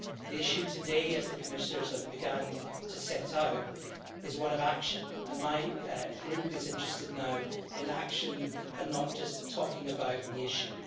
The issue today, as the Commissioners have begun to set out, is one of action, and my Group is interested now in action and not just talking about the issue.